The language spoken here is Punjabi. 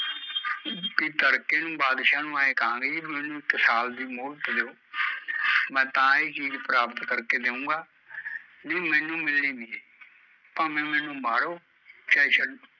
ਵੀ ਤੜਕੇ ਨੂ ਬਾਦਸ਼ਾਹ ਨੂ ਐ ਕਹਾਂਗੇ ਵੀ ਮੈਂਨੂੰ ਇੱਕ ਸਾਲ ਦੀ ਮੋਹਲਤ ਦਿਉ ਮੈਂ ਤਾਂ ਹੀਂ ਚੀਜ਼ ਪ੍ਰਾਪਤ ਕਰ ਕੇ ਦਿਊਗਾ ਨਹੀਂ ਮੈਂਨੂੰ ਮਿਲਣੀ ਨੀ ਭਾਵੇ ਮੈਂਨੂੰ ਮਾਰੋ ਚਾਹੇ ਛੱਡੋ